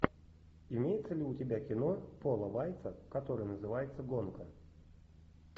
имеется ли у тебя кино пола вайца которое называется гонка